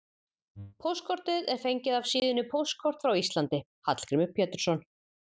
Póstkortið er fengið af síðunni Póstkort frá Íslandi: Hallgrímur Pétursson.